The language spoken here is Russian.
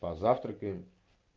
позавтракаем